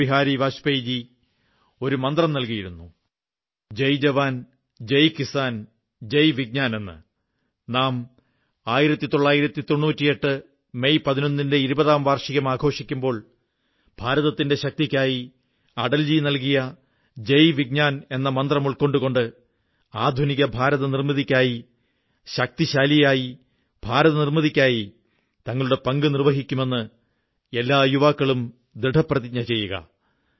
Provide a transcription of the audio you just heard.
അടൽ ബിഹാരി വാജ്പേയിജി ഒരു മന്ത്രം നല്കിയിരുന്നു ജയ് ജവാൻ ജയ് കിസാൻ ജയ് വിജ്ഞാൻ എന്ന് നാം 1998 മെയ് 11 ലെ പരീക്ഷണത്തിന്റെ ഇരുപതാം വാർഷികം ആഘോഷിക്കുമ്പോൾ ഭാരതത്തിന്റെ ശക്തിക്കായി അടൽ ജി നല്കിയ ജയ് വിജ്ഞാൻ എന്ന മന്ത്രം ഉൾക്കൊണ്ടുകൊണ്ട് ആധുനിക ഭാരതനിർമ്മിതിക്കായി ശക്തിശാലിയായ ഭാരതനിർമ്മിതിക്കായി തങ്ങളുടെ പങ്ക് നിർവ്വഹിക്കുമെന്ന് എല്ലാ യുവാക്കളും ദൃഢപ്രതിജ്ഞ ചെയ്യുക